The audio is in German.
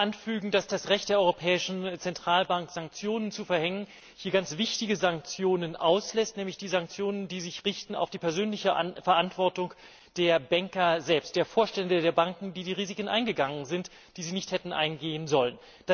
Ich möchte noch anfügen, dass das Recht der Europäischen Zentralbank, Sanktionen zu verhängen, hier ganz wichtige Sanktionen auslässt, nämlich diejenigen, die sich an die persönliche Verantwortung der Banker selbst richten, der Vorstände der Banken, die die Risiken eingegangen sind, die sie nicht hätten eingehen sollen.